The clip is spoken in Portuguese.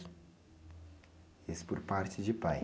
Esses por parte de pai?